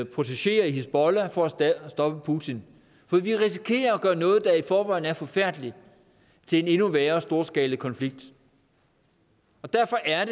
protegé hizbollah for at stoppe putin for vi risikerer at gøre noget der i forvejen er forfærdeligt til en endnu værre storskalakonflikt og derfor er